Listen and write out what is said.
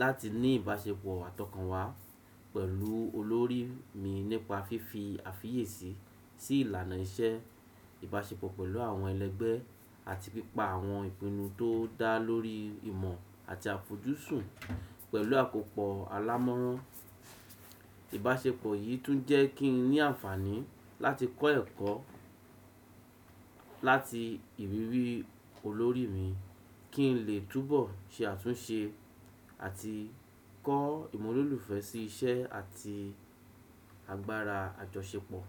láti ní ìbáṣepọ̀ àtọkànwá pẹ̀lú olórí mi nípa fífi àfiyèsí sí ìlànà iṣẹ́, ìbáṣepọ̀ pẹ̀lú àwọn ẹlẹgbẹ́ àti pípa àwọn ìpinnu tó dá lórí ìmọ̀ àti àfọjúsùn pẹ̀lú àkópọ̀ alámọ̀ran. Ìbáṣepọ̀ yìí tún jẹ́ kí n ní àǹfààní láti kọ́ ẹ̀kọ́ láti ìrírí olórí mi kí n lè túbọ̀ ṣe àtúnṣe àti kọ́ ìmúlòlùfẹ́ sí iṣẹ́ àti agbára àjọṣepọ̀.